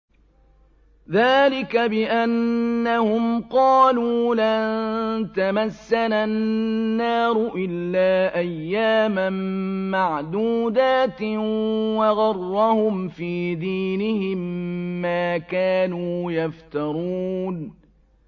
ذَٰلِكَ بِأَنَّهُمْ قَالُوا لَن تَمَسَّنَا النَّارُ إِلَّا أَيَّامًا مَّعْدُودَاتٍ ۖ وَغَرَّهُمْ فِي دِينِهِم مَّا كَانُوا يَفْتَرُونَ